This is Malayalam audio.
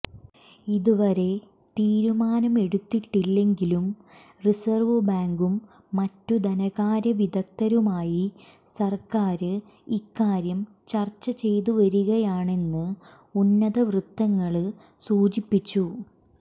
ഇതുവരെ തീരുമാനമെടുത്തിട്ടില്ലെങ്കിലും റിസര്വ് ബാങ്കും മറ്റുധനകാര്യവിദഗ്ധരുമായി സര്ക്കാര് ഇക്കാര്യം ചര്ച്ചചെയ്തുവരികയാണെന്ന് ഉന്നതവൃത്തങ്ങള് സൂചിപ്പിച്ചു